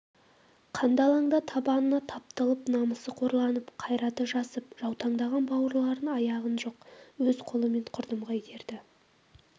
қанды алаңда табанына тапталып намысы қорланып қайраты жасып жаутаңдаған бауырларын аяған жоқ өз қолымен құрдымға итерді